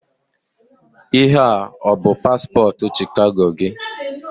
Ihe a o-bụ paspọtụ Chicago gị?